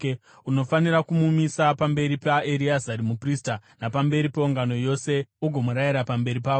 Unofanira kumumisa pamberi paEreazari muprista napamberi peungano yose ugomurayira pamberi pavo.